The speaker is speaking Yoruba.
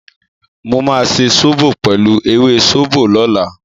Mo máa ṣe sóbò pẹ̀lú ewé sóbò lọ́la.